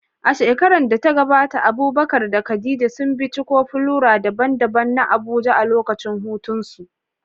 A shekarar da ta gabata Abubakar da Khadija sun binciko flora daban-daban na Abuja a lokacin hutunsu.